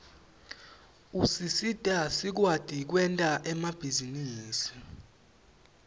usisita sikwati kwenta emabhizinisi